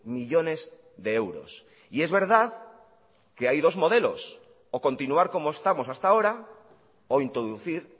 millónes de euros y es verdad que hay dos modelos o continuar como estamos hasta ahora o introducir